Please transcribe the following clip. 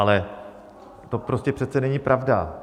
Ale to prostě přece není pravda!